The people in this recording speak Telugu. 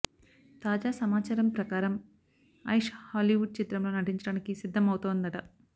తాజా సమాచారం ప్రకారం ఐష్ హాలీవుడ్ చిత్రంలో నటించడానికి సిద్ధం అవుతోందట